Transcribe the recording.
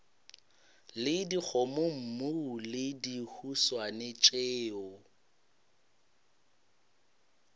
le dikgomommuu le dihuswane tšeo